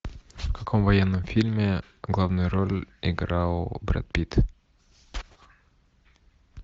в каком военном фильме главную роль играл брэд питт